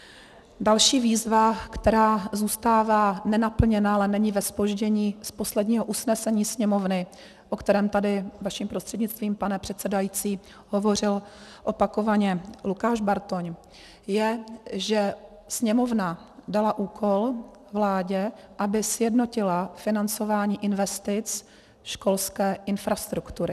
Další výzva, která zůstává nenaplněna, ale není ve zpoždění, z posledního usnesení Sněmovny, o kterém tady vaším prostřednictvím, pane předsedající, hovořil opakovaně Lukáš Bartoň, je, že Sněmovna dala úkol vládě, aby sjednotila financování investic školské infrastruktury.